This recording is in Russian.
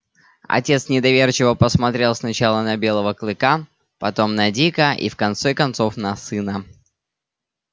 отец недоверчиво посмотрел сначала на белою клыка потом на дика и в конце концов на сына